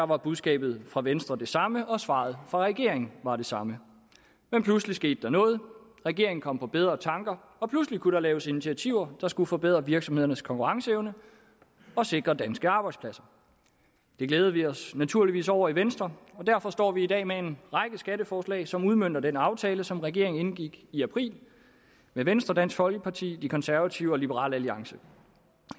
var budskabet fra venstre det samme og svaret fra regeringen var det samme men pludselig skete der noget regeringen kom på bedre tanker og pludselig kunne der laves initiativer der skulle forbedre virksomhedernes konkurrenceevne og sikre danske arbejdspladser det glæder vi os naturligvis over i venstre og derfor står vi i dag med en række skatteforslag som udmønter den aftale som regeringen indgik i april med venstre dansk folkeparti de konservative og liberal alliance